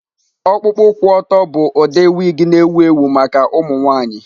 Ọkpụkpụ kwụ ọtọ bụ ụdị wig na-ewu ewu maka ụmụ nwanyị.